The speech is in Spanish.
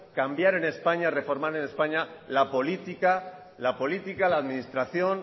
cambiar en españa reformar en españa la política la administración